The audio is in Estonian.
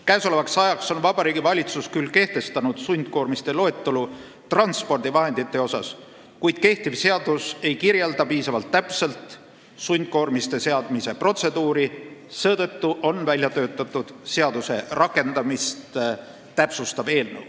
Käesolevaks ajaks on Vabariigi Valitsus küll kehtestanud sundkoormiste loetelu transpordivahendite vallas, kuid kehtiv seadus ei kirjelda piisavalt täpselt sundkoormiste seadmise protseduuri, seetõttu on välja töötatud seaduse rakendamist täpsustav eelnõu.